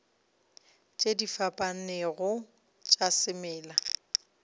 tše di fapanego tša semela